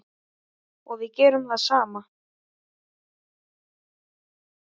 Og við gerum það sama.